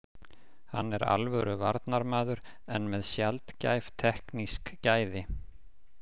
Hann er alvöru varnarmaður en með sjaldgæf teknísk gæði.